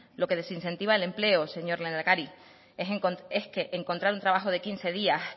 lo que desincentiva el empleo señor lehendakari es que encontrar un trabajo de quince días